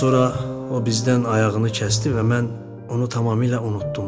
Sonra o bizdən ayağını kəsdi və mən onu tamamilə unutdum.